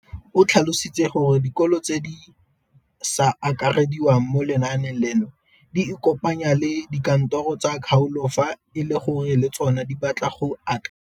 O tlhalositse gore dikolo tse di sa akarediwang mo lenaaneng leno di ikopanye le dikantoro tsa kgaolo fa e le gore le tsona di batla go akarediwa.